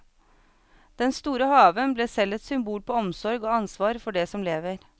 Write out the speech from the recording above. Den store haven ble selv et symbol på omsorg og ansvar for det som lever.